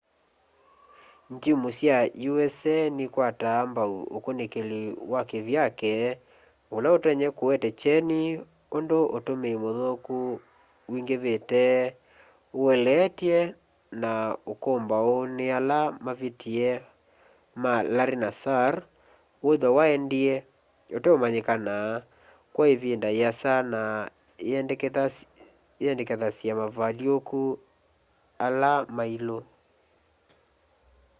ngyimu sya usa nikwataa mbau ukunikili wa kivyake ula utonya kuete kyeni undu utumii muthuku wingivite ueleetw'e na ukumbau ni ala mavitie ma larry nassar withwa waendie uteumanyikana kwa ivinda iasa na iendekethasya mavalyuku ala mailu